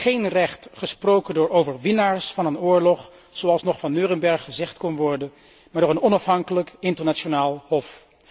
Geen recht, gesproken door overwinnaars van een oorlog zoals nog van Neurenberg gezegd kon worden, maar door een onafhankelijk internationaal hof.